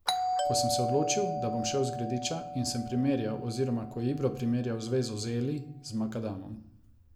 Ko sem se odločil, da bom šel z Grediča, in sem primerjal oziroma ko je Ibro primerjal zvezo z Eli z makadamom.